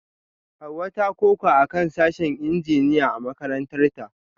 Hawa ta koka akan sashen Injiniya a makarantarta